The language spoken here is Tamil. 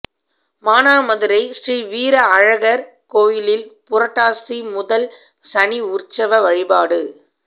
மானாமதுரை ஸ்ரீ வீர அழகர் கோயிலில் புரட்டாசி முதல் சனி உற்சவ வழிபாடு